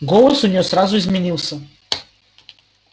голос у нее сразу изменился